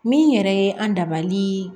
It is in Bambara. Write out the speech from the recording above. Min yɛrɛ ye an dabali